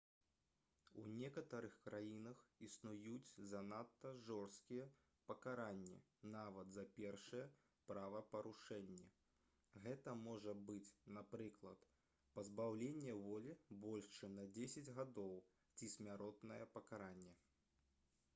у некаторых краінах існуюць занадта жорсткія пакаранні нават за першыя правапарушэнні гэта можа быць напрыклад пазбаўленне волі больш чым на 10 гадоў ці смяротнае пакаранне